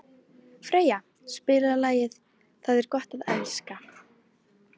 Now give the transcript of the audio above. Freyja, spilaðu lagið „Það er gott að elska“.